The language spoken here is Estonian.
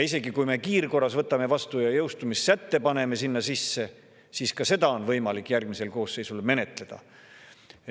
Isegi kui me kiirkorras võtame vastu ja paneme jõustumissätte sinna sisse, siis ka seda on võimalik järgmisel koosseisul menetleda.